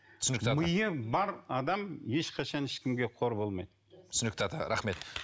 түсінікті ата миы бар адам ешқашан ешкімге қор болмайды түсінікті ата рахмет